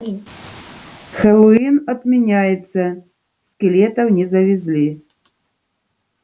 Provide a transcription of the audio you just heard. хэллоуин отменяется скелетов не завезли